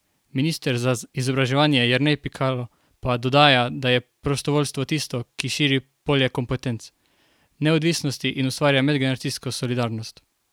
Minister za izobraževanje Jernej Pikalo pa dodaja, da je prostovoljstvo tisto, ki širi polje kompetenc, neodvisnosti in ustvarja medgeneracijsko solidarnost.